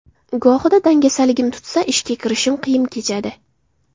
Gohida dangasaligim tutsa, ishga kirishishim qiyin kechadi.